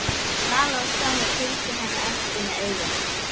Vala og Stjáni fylgdu henni eftir með augunum.